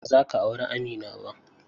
Ba zaka auri Amina ba.